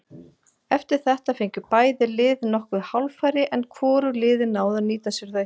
Eftir þetta fengu bæði lið nokkur hálffæri en hvorug liðin náðu að nýta sér þau.